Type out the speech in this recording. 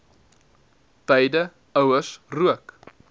beide ouers rook